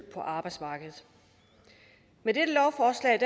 på arbejdsmarkedet med dette lovforslag